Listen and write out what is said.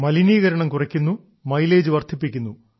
മലിനീകരണം കുറയ്ക്കുന്നു മൈലേജ് വർദ്ധിപ്പിക്കുന്നു